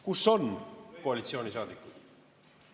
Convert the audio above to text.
Kus on koalitsioonisaadikud?